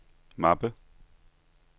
mappe